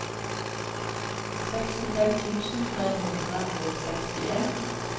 sekstifem tusen tre hundre og sekstien